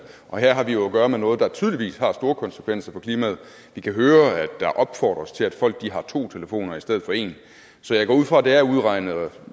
og her har vi jo at gøre med noget der tydeligvis har store konsekvenser for klimaet vi kan høre at der opfordres til at folk har to telefoner i stedet for en så jeg går ud fra at det er udregnet og